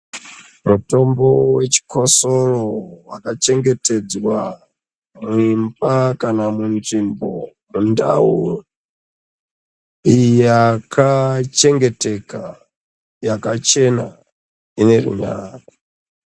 Mitombo yechikosoro yaka chengeyedzwa muimba kana munzvimbo ndau yakachengeteka yakachena inerunyararo.